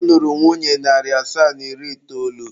Ọ lụrụ nwunye narị asaa na iri itoolu.